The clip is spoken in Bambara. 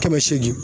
Kɛmɛ seegin